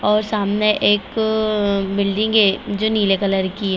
और सामने एक अ बिल्डिंग है जो नीले कलर की है।